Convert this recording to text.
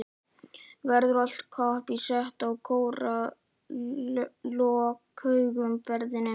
Verður allt kapp sett á að skora í lokaumferðinni?